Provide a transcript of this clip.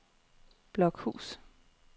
Blokhus